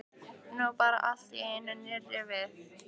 Nú bar allt í einu nýrra við.